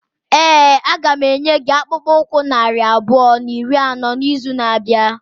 Ee, a ga m enye gị akpụkpọ ụkwụ narị abụọ na iri anọ n'izu na-abịa.